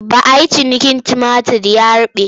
Ba a yi ciniki tumatir ya ruɓe.